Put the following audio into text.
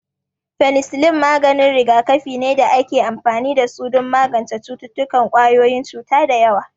Fenisillin maganin rigakafi ne da ake amfani da su don magance cututtukan ƙwayoyin cuta da yawa